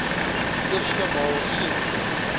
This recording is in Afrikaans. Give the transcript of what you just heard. eerste maal sien